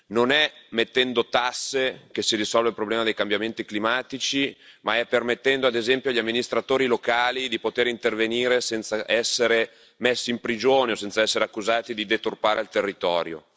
Non è mettendo tasse che si risolve il problema dei cambiamenti climatici, ma è permettendo, ad esempio, agli amministratori locali di poter intervenire senza essere messi in prigione o senza essere accusati di deturpare il territorio.